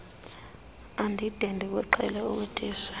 andide ndikuqhele ukutitsha